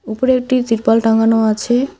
ওপরে একটি তিরপল টাঙানো আছে।